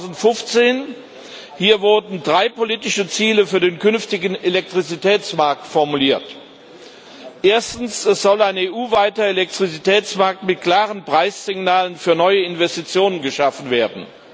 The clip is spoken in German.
2015. Hier wurden drei politische Ziele für den künftigen Elektrizitätsmarkt formuliert Erstens soll ein EU weiter Elektrizitätsmarkt mit klaren Preissignalen für neue Investitionen geschaffen werden.